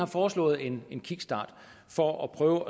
foreslår en en kickstart for at prøve